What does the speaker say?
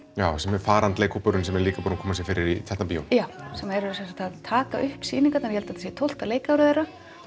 já sem er farandleikhópurinn sem er líka búinn að koma sér fyrir í Tjarnarbíó já sem eru sem sagt að taka upp sýningarnar ég held að þetta sé tólfta leikárið þeirra